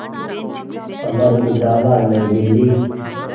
Amar Ujala New Delhi